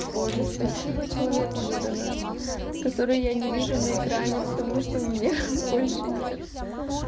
боже спасибо человеку за донат который я не вижу на экране потому что у меня больше нет